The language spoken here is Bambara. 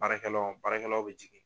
Baarakɛ law baarakɛ law bɛ jigin.